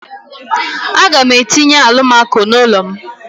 A ga m etinye alụmako n'ulo m.